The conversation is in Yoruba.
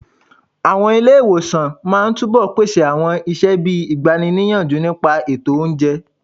Àwọn ilé ìwòsàn máa túbọ̀ pèsè àwọn iṣẹ́ bíi ìgbani níyànjú nípa ètò oúnjẹ.